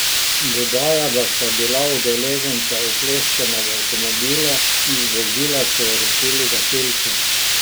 Dodaja, da sta bila udeleženca ukleščena v avtomobilu, iz vozila so ju rešili gasilci.